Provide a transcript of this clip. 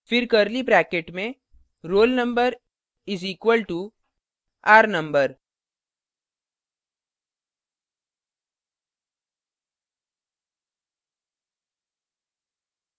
फिर curly bracket में roll _ number is equal to r _ no